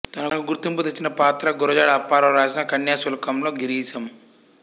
తనకు గుర్తింపు తెచ్చిన పాత్ర గురజాడ అప్పారావు రాసిన కన్యాశుల్కంలో గిరీశం